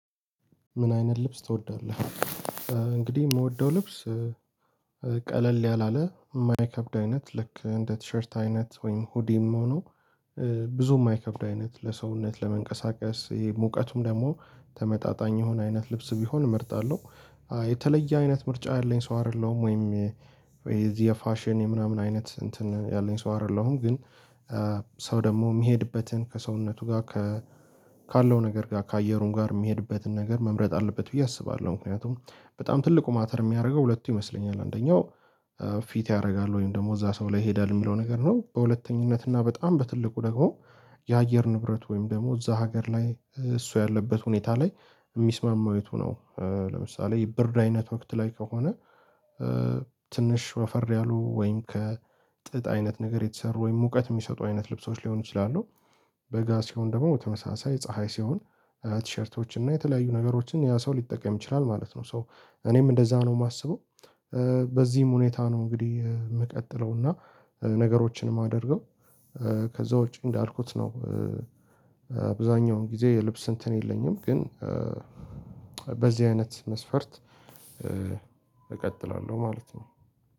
ምን አይነት ልብስ ትወዳለህ? እንግዲህ የምወደው ልብስ ቀለል ያላለ የማይከብድ አይነት ልክ እንደ ቲሸርት አይነት ወይም ሁዲም ሆኖ ብዙ ማይከብድ አይነት ለሰውነት ለመንቀሳቀስ ይሄ ሙቀቱም ደግሞ ተመጣጣኝ የሆነ አይነት ልብስ ቢሆን እመርጣለሁ። የተለየ አይነት ምርጫ ያለኝ ሰው አይደለሁም ወይም የዚህ የፋሽን የምናምን አይነት እንትን ያለኝ ሰው አይደለሁም። ግን ደግሞ የሚሄድበትን ከሰውነቱ ጋር ከ ካለው ነገር ጋር ከአየሩም ጋር የሚሄድበትን ነገር መምረጥ አለበት ብዬ አስባለሁ። ምክንያቱም በጣም ትልቁ ማተር የሚያደርገው ሁለቱ ይመስለኛል አንደኛው ፊት ያደርጋል ወይም ደግሞ እዛ ሰው ላይ ይሄዳል የሚለው ነገር ነው። በሁለተኝነት እና በጣም በትልቁ ደግሞ የአየር ንብረት ወይም ደግሞ እዛ ሀገር ላይ እሱ ያለበት ሁኔታ ላይ የሚስማማው የቱ ነው? ለምሳሌ የብርድ አይነት ወቅት ላይ ከሆነ ትንሽ ወፈር ያሉ ወይም ከ ጥጥ አይነት ነገር የተሰሩ ወይም ሙቀት የሚሰጡ አይነት ልብሶች ሊሆኑ ይችላሉ። በጋ ሲሆን ደግሞ በተመሳሳይ ፀሀይ ሲሆን ቲሸርቶችን እና የተለያዩ ነገሮችን ያ ሰው ሊጠቀም ይችላል ማለት ነው። ሶ እኔም እንደዛ ነው የማስበው። በዚህም ሁኔታ ነው እንግዲህ የምቀጥለው እና ነገሮችን የማደርገው ከዛ ውጪ እንዳልኩት ነው። አብዛኛውን ጊዜ የልብስ እንትን የለኝም ግን በዚህ አይነት መስፈርት እቀጥላለሁ ማለት ነው